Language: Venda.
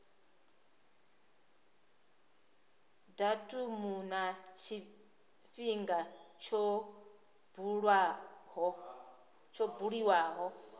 datumu na tshifhinga tsho buliwaho